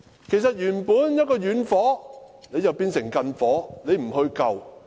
原本是遠火，但政府把它變成近火，卻不撲救。